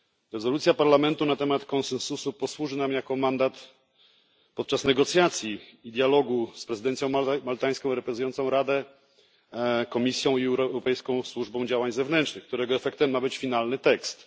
Rezolucja Parlamentu na temat konsensusu posłuży nam jako mandat podczas negocjacji i dialogu z prezydencją maltańską reprezentującą Radę, Komisją Europejską i Służbą Działań Zewnętrznych, którego efektem ma być finalny tekst.